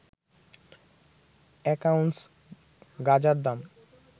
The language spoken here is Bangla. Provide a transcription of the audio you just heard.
এক আউন্স গাঁজার দাম